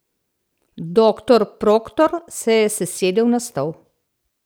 Doktor Proktor se je sesedel na stol.